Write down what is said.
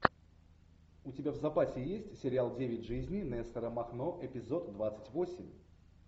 у тебя в запасе есть сериал девять жизней нестора махно эпизод двадцать восемь